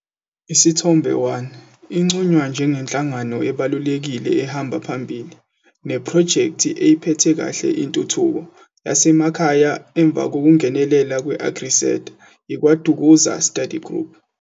Isithombe 1- Inconywa njengenhlangano ebalulekile ehamba phambili, nephrojekthi eyiphethe kahle intuthuko yasemakhaya emva kokungenelela kwe-AgriSeta - Ikwa-Dukuza Study Group.